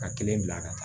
Ka kelen bila ka taa